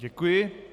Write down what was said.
Děkuji.